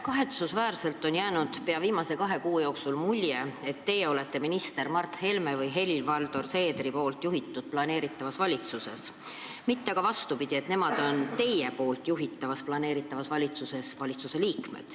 Kahetsusväärselt on viimase kahe kuu jooksul jäänud mulje, et teie olete peagi minister Mart Helme või Helir-Valdor Seederi juhitavas valitsuses, mitte vastupidi, et nemad on teie juhitavas valitsuses selle liikmed.